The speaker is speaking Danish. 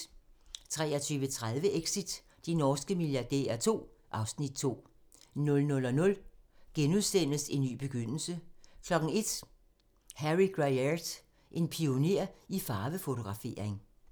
23:30: Exit - de norske milliardærer II (Afs. 2) 00:00: En ny begyndelse * 01:00: Harry Gruyaert: En pioner i farvefotografering